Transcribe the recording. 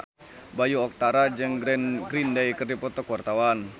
Bayu Octara jeung Green Day keur dipoto ku wartawan